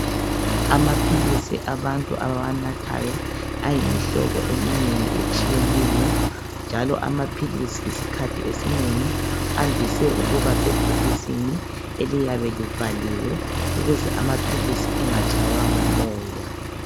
Amaphilisi abantu abawanathayo ayimihlobo eminengi etshiyeneyo njalo amaphilisi isikhathi esinengi andise ukuba sebhokisini eliyabe livaliwe ukuze amaphilisi engatshaywa ngumoya.